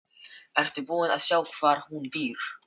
Nú ertu búin að sjá hvar hún býr.